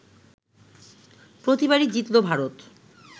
প্রতিবারই জিতলো ভারত